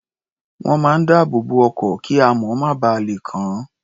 Wọ́n máa ń dáàbò bo ọkọ̀, kíamọ̀ má ba lè kàn án.